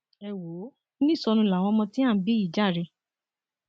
ẹ wò ó oníṣọnu làwọn ọmọ tí à ń bí yìí jàre